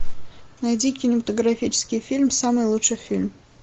найди кинематографический фильм самый лучший фильм